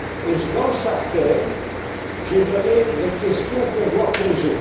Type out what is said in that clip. Et dans chaque thème, j'ai précisé les questions qu'on doit poser.